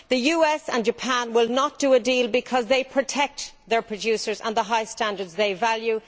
The US and Japan will not do a deal because they protect their producers and the high standards they value.